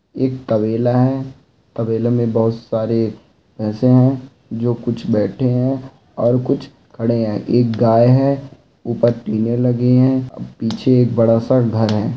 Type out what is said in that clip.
एक तबेला है तबेले में बहुत सारे भैंसे है जो कुछ बैठे है और कुछ खड़े है एक गाय है ऊपर टीने लगे है पीछे एक बड़ा सा घर है।